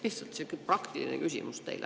Lihtsalt sihuke praktiline küsimus teile.